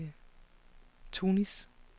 Tunis